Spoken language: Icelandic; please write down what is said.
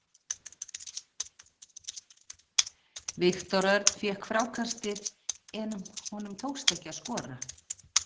Viktor Örn fékk frákastið en honum tókst ekki að skora.